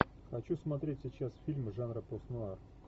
хочу смотреть сейчас фильмы жанра постнуар